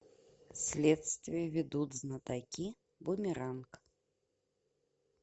следствие ведут знатоки бумеранг